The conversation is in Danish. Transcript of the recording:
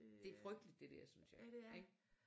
Det frygteligt det dér synes jeg ik